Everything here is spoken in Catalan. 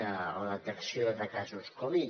a la detecció de casos covid